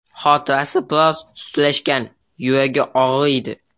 Xotirasi biroz sustlashgan, yuragi og‘riydi.